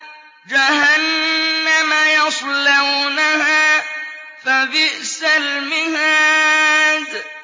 جَهَنَّمَ يَصْلَوْنَهَا فَبِئْسَ الْمِهَادُ